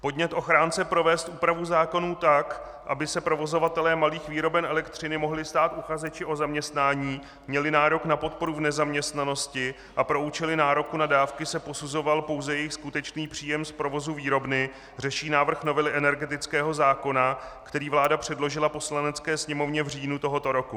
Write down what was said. Podnět ochránce provést úpravu zákonů tak, aby se provozovatelé malých výroben elektřiny mohli stát uchazečů o zaměstnání, měli nárok na podporu v nezaměstnanosti a pro účely nároku na dávky se posuzoval pouze jejich skutečný příjem z provozu výrobny, řeší návrh novely energetického zákona, který vláda předložila Poslanecké sněmovně v říjnu tohoto roku.